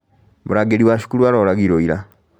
Mũrangĩri wa cukuru aroragirwo ira